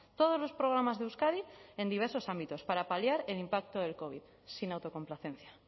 todos los programas de euskadi en diversos ámbitos para paliar el impacto del covid sin autocomplacencia